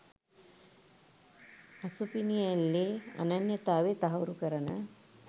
අසුපිනිඇල්ලේ අනන්‍යතාව තහවුරු කරන